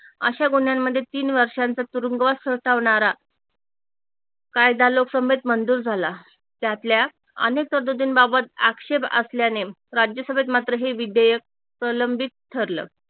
अशा गुन्ह्यांमध्ये तीन वर्षांचा तुरूंगवास सोसवणारा कायदा लोकसभेत मंजूर झाला त्यातल्या अनेक तरतुदींबाबत आक्षेप असल्याने राज्यसभेत मात्र हे विधेयक प्रलंबित ठरल